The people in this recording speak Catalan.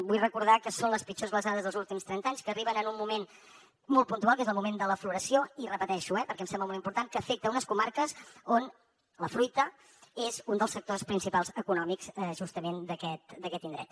vull recordar que són les pitjors glaçades dels últims trenta anys que arriben en un moment molt puntual que és el moment de la floració i ho repeteixo perquè em sembla molt important que afecta unes comarques on la fruita és un dels sectors principals econòmics justament d’aquest indret